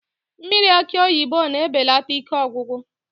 Mmiri akị oyibo na-ebelata ike ọgwụgwụ